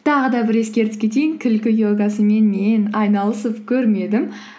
тағы да бір ескертіп кетейін күлкі йогасымен мен айналысып көрмедім